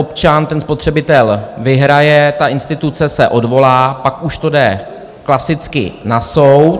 Občan, ten spotřebitel, vyhraje, ta instituce se odvolá, pak už to jde klasicky na soud.